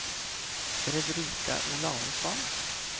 Fredrika Olausson